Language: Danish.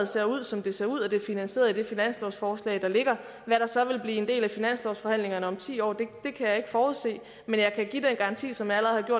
ser ud som det ser ud og det er finansieret i det finanslovsforslag der ligger hvad der så vil blive en del af finanslovsforhandlingerne om ti år kan jeg ikke forudse men jeg kan give en garanti som jeg allerede har